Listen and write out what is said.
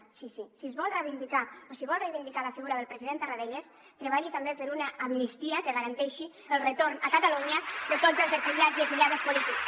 sí sí si es vol reivindicar o si vol reivindicar la figura del president tarradellas treballi també per una amnistia que garanteixi el retorn a catalunya de tots els exiliats i exiliades polítics